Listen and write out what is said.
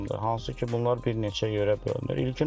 Hansı ki, bunlar bir neçə yörə bölünür.